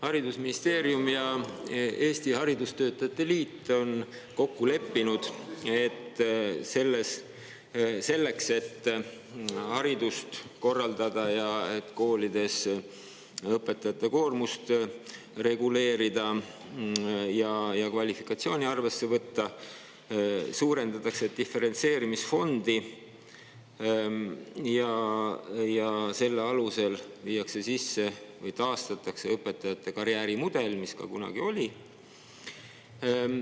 Haridusministeerium ja Eesti Haridustöötajate Liit on kokku leppinud, et selleks, et hariduse korraldada ning koolides õpetajate koormust reguleerida ja nende kvalifikatsiooni arvesse võtta, suurendatakse diferentseerimisfondi ja selle alusel viiakse sisse või taastatakse õpetajate karjäärimudel, mis kunagi ka oli.